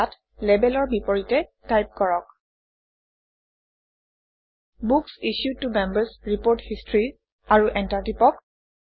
ইয়াত Label অৰ বিপৰীতে টাইপ কৰক বুক্স ইছ্যুড ত Members ৰিপোৰ্ট হিষ্টৰী আৰু এণ্টাৰ টিপক